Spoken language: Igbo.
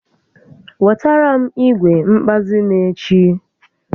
Wetara m igwe nkpazi m echi